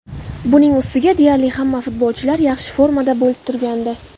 Buning ustiga deyarli hamma futbolchilar yaxshi formada bo‘lib turgandi.